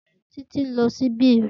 Titi n lo ṣíbí rẹ.